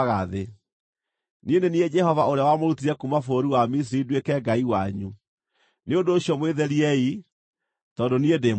Niĩ nĩ niĩ Jehova ũrĩa wamũrutire kuuma bũrũri wa Misiri nduĩke Ngai wanyu; nĩ ũndũ ũcio mwĩtheriei, tondũ niĩ ndĩ mũtheru.